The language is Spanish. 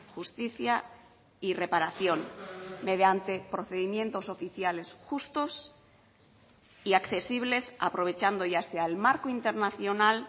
justicia y reparación mediante procedimientos oficiales justos y accesibles aprovechando ya sea el marco internacional